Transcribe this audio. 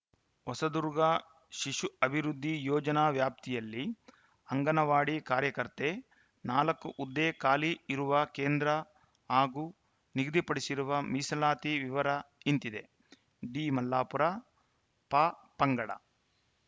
ಹೊಸದುರ್ಗ ಶಿಶು ಅಭಿವೃದ್ಧಿ ಯೋಜನಾ ವ್ಯಾಪ್ತಿಯಲ್ಲಿ ಅಂಗನವಾಡಿ ಕಾರ್ಯಕರ್ತೆ ನಾಲ್ಕು ಹುದ್ದೆ ಖಾಲಿ ಇರುವ ಕೇಂದ್ರ ಹಾಗೂ ನಿಗದಿಪಡಿಸಿರುವ ಮೀಸಲಾತಿ ವಿವರ ಇಂತಿದೆ ಡಿ ಮಲ್ಲಾಪುರ ಪಪಂಗಡ